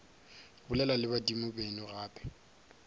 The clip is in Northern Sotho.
bolela le badimo beno gape